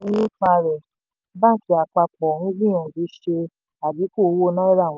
tí ronú nípa rẹ̀ báńkì àpapọ̀ ń gbìyànjú ṣe adínkù owó náírà wọn.